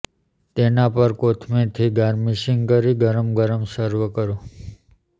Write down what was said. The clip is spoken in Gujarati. તેના પર કોથમીરથી ગાર્નિશિંગ કરી ગરમા ગરમ સર્વ કરો